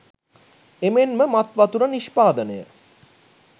එමෙන්ම මත් වතුර නිෂ්පාදනය,